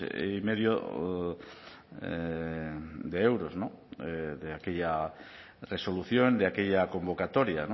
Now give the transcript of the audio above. y medio de euros de aquella resolución de aquella convocatoria